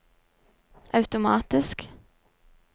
automatisk